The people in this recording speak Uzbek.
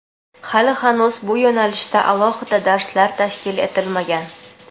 Hali-hanuz bu yo‘nalishda alohida darslar tashkil etilmagan.